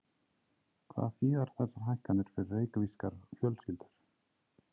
Hvað þýða þessar hækkanir fyrir reykvískar fjölskyldur?